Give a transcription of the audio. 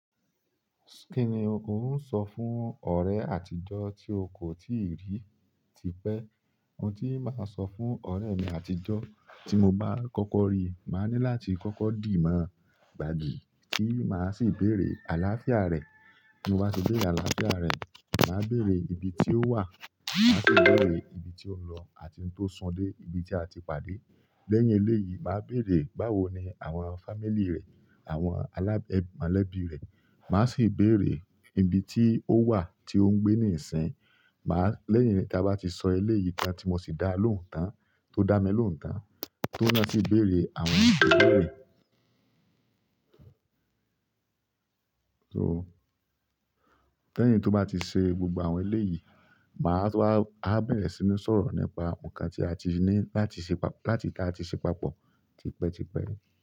Kí ni ò sọ fún ọ̀rẹ́ àtijọ́ tí o kò tíì rí tipẹ́? Òun tí màá sọ fún ọ̀rẹ́ mi àtijọ́ tí mo bá kọ́kọ́ rí, màá ní láti kọ́kọ́ dì mọ́, gbàgbe, tí màá sì béèrè àlàáfíà rẹ̀. Mo bá ti béèrè àlàáfíà rẹ̀, màá béèrè ibi tí ó wà, màá sì béèrè ibi tí ó ń lọ àti ohun tó sún dé ibi tí a ti pàdé. Lẹ́yìn eléyìí, màá béèrè báwo ni àwọn family rẹ̀, àwọn aláb- mọ́lẹ́bí rẹ̀. Màá sì béèrè ibi tí ó wà tí ó ń gbé níìsín. Màá-- lẹ́yìn tí a bá ti sọ eléyìí tán tí mo sì dá lóhùn tán, tó dá mi lóhùn tán, ti oun ná sì béèrè àwọn ìbéèrè. So, lẹ́yìn tí ó bá ti ṣe gbogbo àwọn eléyìí, màá tu wá, a bá bẹ̀rẹ̀ sí ní sọ̀rọ̀ nípa ǹkan tí a ti ní láti ṣe pa-- láti kí a ti ṣe papọ̀ tipẹ́ tipẹ́.